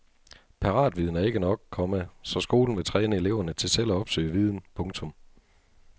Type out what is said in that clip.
Paratviden er ikke nok, komma så skolen vil træne eleverne til selv at opsøge viden. punktum